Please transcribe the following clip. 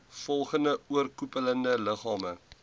volgende oorkoepelende liggame